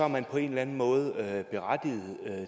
man på en eller anden måde berettiget